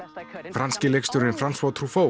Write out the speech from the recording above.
franski leikstjórinn Franz